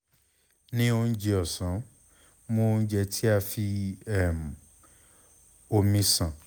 ni ounjẹ ọsan mu ounjẹ ti a fi um omi ṣan